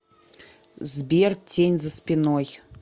сбер тень за спиной